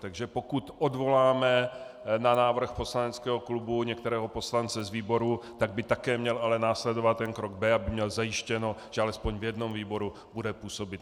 Takže pokud odvoláme na návrh poslaneckého klubu některého poslance z výboru, tak by také měl ale následovat ten krok "b", aby měl zajištěno, že aspoň v jednom výboru bude působit.